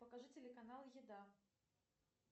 покажи телеканал еда